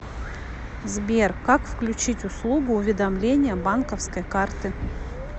сбер как включить услугу уведомления банковской карты